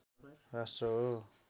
राष्ट्र हो